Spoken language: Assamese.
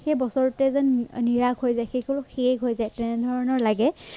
সেইবছৰটোৱেই যেন নিৰাশ হৈ যায় সেইসমূহ শেষ হৈ যায় তেনেধৰণৰ লাগে